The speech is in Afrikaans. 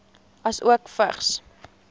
asook vigs